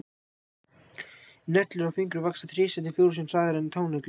Neglur á fingrum vaxa þrisvar til fjórum sinnum hraðar en táneglur.